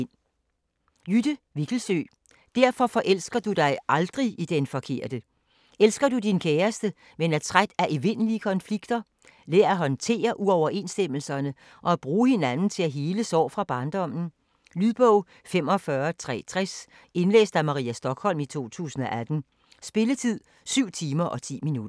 Vikkelsøe, Jytte: Derfor forelsker du dig aldrig i den forkerte Elsker du din kæreste, men er træt af evindelige konflikter? Lær at håndtere uoverensstemmelserne og at bruge hinanden til at hele sår fra barndommen. Lydbog 45360 Indlæst af Maria Stokholm, 2018. Spilletid: 7 timer, 10 minutter.